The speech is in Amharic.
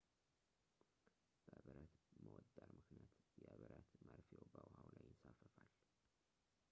በብረት መወጠር ምክንያት የብረት መርፌው በውሃው ላይ ይንሳፈፋል